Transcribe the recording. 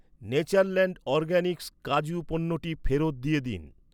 Natureland Organics কাজু পণ্যটি ফেরত দিয়ে দিন।